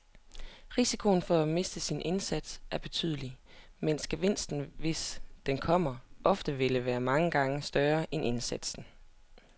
Risikoen for at miste sin indsats er betydelig, mens gevinsten, hvis den kommer, ofte vil være mange gange større end indsatsen.